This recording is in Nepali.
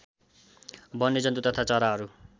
वन्यजन्तु तथा चराहरू